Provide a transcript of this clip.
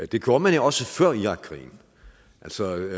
det gjorde man jo også før irakkrigen altså